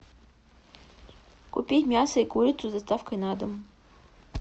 купить мясо и курицу с доставкой на дом